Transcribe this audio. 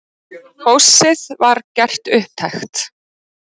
Góssið var gert upptækt.